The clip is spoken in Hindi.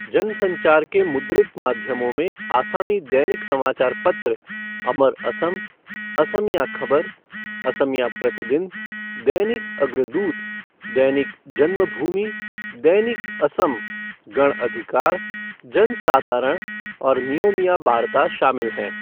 जन संचार के मुद्रित माध्यमों में आसामी दैनिक समाचारपत्र अमर असम, असमिया खबर, असमिया प्रतिदिन, दैनिक अग्रदूत, दैनिक जन्मभूमि, दैनिक असम, गण अधिकार, जनसाधारण और नियोमिया बार्ता शामिल हैं।